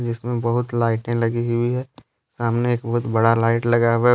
इसमें बहुत लाइटें लगी हुई है सामने एक बहुत बड़ा लाइट लगा हुआ --